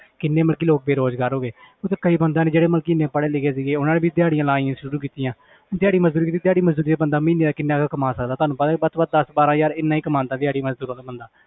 ਕਿੰਨੇ ਮਤਲਬ ਕਿ ਲੋਕ ਬੇਰੁਜ਼ਗਾਰ ਹੋ ਗਏਤੇ ਕਈ ਬੰਦਿਆਂ ਨੇ ਜਿਹੜੇ ਮਤਲਬ ਕਿ ਇੰਨੇ ਪੜ੍ਹੇ ਲਿਖੇ ਸੀਗੇ ਉਹਨਾਂ ਨੇ ਵੀ ਦਿਹਾੜੀਆਂ ਲਾਉਣੀਆਂ ਸ਼ੁਰੂ ਕੀਤੀਆਂ ਦਿਹਾੜੀ ਮਜ਼ਦੂਰੀ ਦਿਹਾੜੀ ਮਜ਼ਦੂਰੀ ਤੇ ਬੰਦਾ ਮਹੀਨੇ ਦਾ ਕਿੰਨਾ ਕੁ ਕਮਾ ਸਕਦਾ ਤੁਹਾਨੂੰ ਪਤਾ ਵੱਧ ਤੋਂ ਵੱਧ ਦਸ ਬਾਰਾਂ ਹਜ਼ਾਰ ਇੰਨਾ ਹੀ ਕਮਾਉਂਦਾ ਦਿਹਾੜੀ ਮਜ਼ਦੂਰ ਵਾਲਾ ਬੰਦਾ